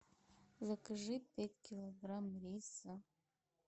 закажи пять килограмм риса